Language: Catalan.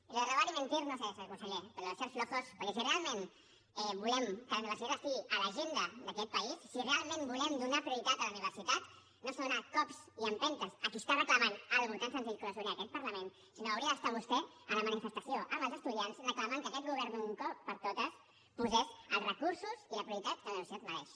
i això de robar y mentir no ho sé senyor conseller però això dequè si realment volem que la universitat estigui a l’agenda d’aquest país si realment volem donar prioritat a la universitat no s’han de fer cops ni empentes a qui reclama una cosa tan senzilla com la sobirania d’aquest parlament sinó que hauria d’estar vostè a la manifestació amb els estudiants reclamant que aquest govern d’una vegada per totes posés els recursos i la prioritat que la universitat mereix